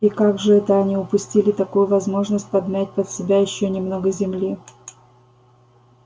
и как же это они упустили такую возможность подмять под себя ещё немного земли